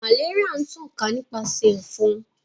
Malaria n tan ka nipasẹ efon.